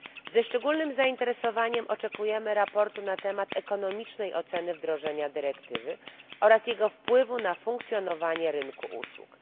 Ze szczególnym zainteresowaniem oczekujemy sprawozdania na temat ekonomicznej oceny wdrożenia dyrektywy oraz jego wpływu na funkcjonowanie rynku usług.